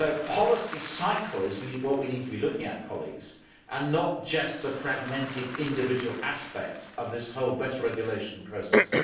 Policy cycle is what we need to be looking at, and not just the fragmented individual aspects of this whole better regulation process.